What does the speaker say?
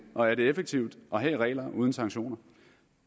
og er det effektivt at have regler uden sanktioner